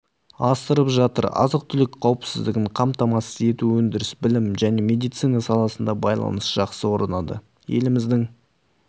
асырып жатыр азық-түлік қауіпсіздігін қамтамасыз ету өндіріс білім және медицина саласында байланыс жақсы орнады еліміздің